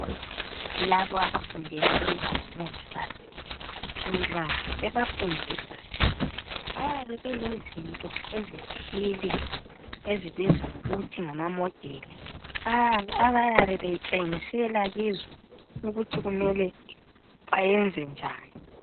Laba abafundela ukuba ngomongikazi nxa bebafundisa bayabe belezinto ezithile ezibizwa ngokuthi ngamamodeli abayabe betshengisela kizo ukuthi kumele bayenze njani.